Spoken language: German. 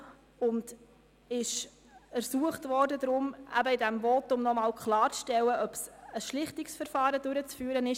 Der Regierungsrat wurde ersucht, in diesem Votum nochmals klarzustellen, ob ein Schlichtungsverfahren durchzuführen sei.